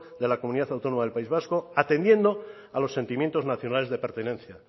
de la comunidad autónoma del país vasco atendiendo a los sentimientos nacionales de pertenencia